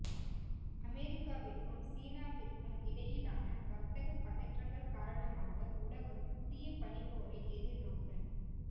அமெரிக்காவிற்கும் சீனாவிற்கும் இடையிலான வர்த்தக பதற்றங்கள் காரணமாக உலகம் புதிய பனிப் போரை எதிர்நோக்க